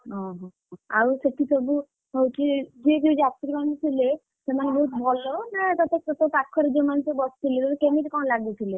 ଓହୋ ଆଉ ସେଠି ସବୁ ହଉଛି ଯିଏ ଯାତ୍ରୀ ମାନେ ଥିଲେ ସେମାନେ ସବୁ ଭଲ, ନା ତୋ ପାଖରେ ଯିଏ ସବୁ ବସିଥିଲେ ମାନେ ତତେ କେମିତି କଣ ସବୁ ଲାଗୁଥିଲେ?